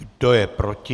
Kdo je proti?